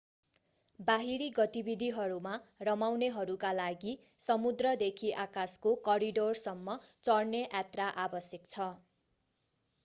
बाहिरी गतिविधिहरूमा रमाउनेहरूका लागि समुद्रदेखि आकाशको करिडोरसम्म चढ्ने यात्रा आवश्यक छ